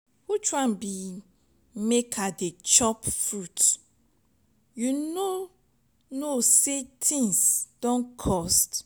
which one be make i dey chop fruit you no know say things don cost.